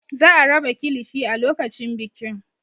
Za a raba kilishi a lokacin bikin.